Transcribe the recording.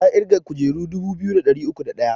Ta ƙirga kujeru dubu biyu da ɗari uku da ɗaya